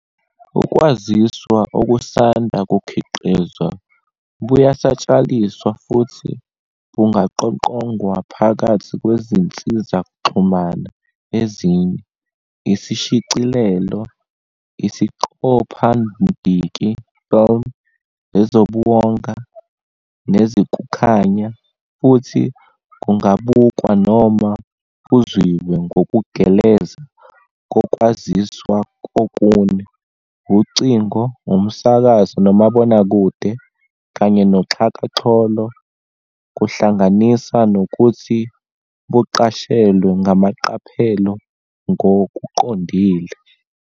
Ukwaziswa okusanda kukhiqizwa buyasatshalaliswa futhi bungaqoqongwa phakathi kwezinsizakuxhamana ezine - isishicilelo, isiqophamdiki "film", ezobuwonga, nezikukhanya - futhi bungabukwa noma buzwiwe ngokugeleza kokwaziswa okune - ucingo, umsakazo nomabonakude, kanye noxhakaxholo kuhlanganisa nokuthi buqashelwe ngamaqaphelo ngokuqondile.